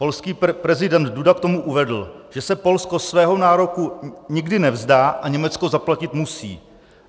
Polský prezident Duda k tomu uvedl, že se Polsko svého nároku nikdy nevzdá a Německo zaplatit musí.